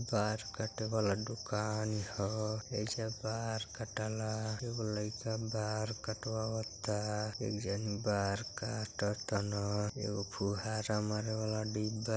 बार काटे वाला दुकान ह एइजा बार कटाला एगो लइका बार कटवावता एक जानी बार काटतन। एगो फुहारा मारे वाला डिब्बा --